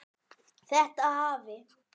Þetta hafi